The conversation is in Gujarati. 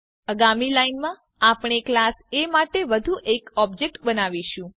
આગામી લાઇનમાં આપણે ક્લાસ એ માટે વધુ એક ઓબ્જેક્ટ બનાવીશું